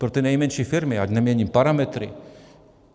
Pro ty nejmenší firmy ať nemění parametry.